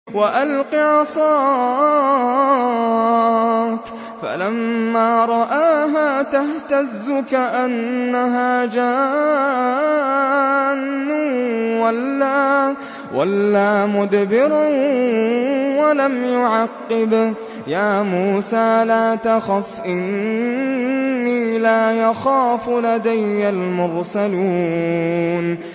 وَأَلْقِ عَصَاكَ ۚ فَلَمَّا رَآهَا تَهْتَزُّ كَأَنَّهَا جَانٌّ وَلَّىٰ مُدْبِرًا وَلَمْ يُعَقِّبْ ۚ يَا مُوسَىٰ لَا تَخَفْ إِنِّي لَا يَخَافُ لَدَيَّ الْمُرْسَلُونَ